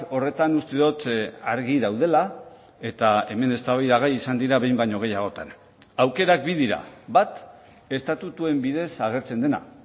horretan uste dut argi daudela eta hemen eztabaidagai izan dira behin baino gehiagotan aukerak bi dira bat estatutuen bidez agertzen dena